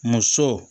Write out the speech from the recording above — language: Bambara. Muso